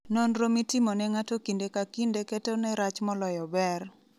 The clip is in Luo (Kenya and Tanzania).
Nonro mitimo ne ng'ato kinde ka kinde 'ketone rach moloyo ber'